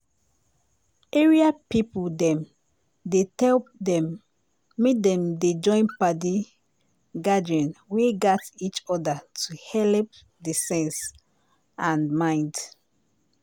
area people dem dey tell dem make dem dey join padi gathering wey gat each other to helep d sense and mind.